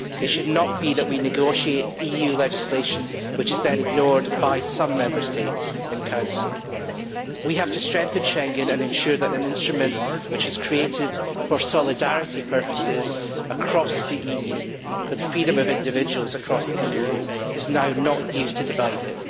It should not be that we negotiate EU legislation which is then ignored by some Member States and Council. We have to strengthen Schengen and ensure that an instrument which was created for solidarity purposes across the EU for the freedom of individuals across the EU is not now used to divide it.